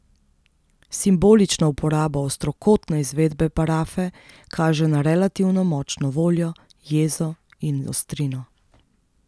Simbolična uporaba ostrokotne izvedbe parafe kaže na relativno močno voljo, jezo in ostrino.